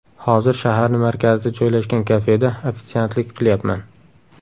Hozir shaharni markazida joylashgan kafeda ofitsiantlik qilyapman.